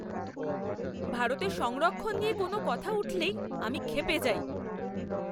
ভারতে সংরক্ষণ নিয়ে কোনও কথা উঠলেই আমি ক্ষেপে যাই।